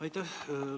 Aitäh!